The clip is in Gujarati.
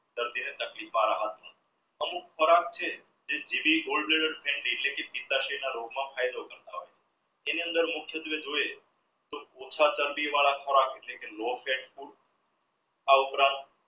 દર્દીને તકલીફમાં રાહત અમુક ખોરાક છે ફાયદો થતો એની અંદર મુખ્ય ખોરાક low fat food આ ઉપરાંત